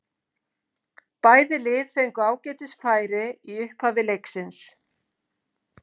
Bæði lið fengu ágætis færi í upphafi leiksins.